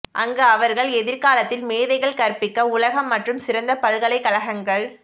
அங்கு அவர்கள் எதிர்காலத்தில் மேதைகள் கற்பிக்க உலகம் மற்றும் சிறந்த பல்கலைக்கழகங்கள்